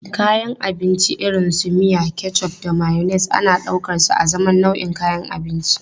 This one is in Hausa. Kayan abinci irin su miya, ketchup da mayonnaise ana ɗaukarsu azaman nau'in kayan abinci.